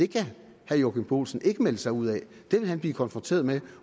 kan herre joachim olsen ikke melde sig ud af det vil han blive konfronteret med